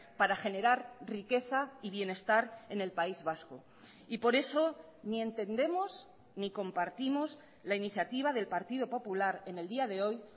para generar riqueza y bienestar en el país vasco y por eso ni entendemos ni compartimos la iniciativa del partido popular en el día de hoy